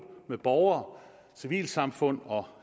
med borgere civilsamfund og